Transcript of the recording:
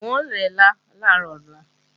N ó rẹ́lá làárọ̀ ọ̀la